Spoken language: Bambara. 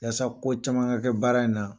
Walisa ko caman ka kɛ baara in na